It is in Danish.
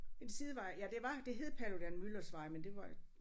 En sidevej ja det var det hed Paludan-Müllers vej men det var